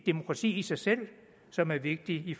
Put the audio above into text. demokrati i sig selv som er vigtigt i